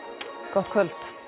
gott kvöld